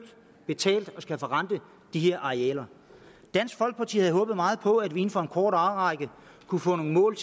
betalt og skal forrente de her arealer dansk folkeparti havde håbet meget på at vi inden for en kort årrække kunne få nogle mål